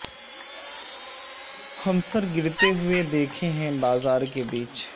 ہم سر گرتے ہوئے دیکھے ہیں بازار کے بیچ